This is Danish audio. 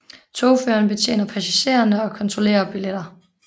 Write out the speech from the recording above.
Togføreren betjener passagererne og kontrollerer billetter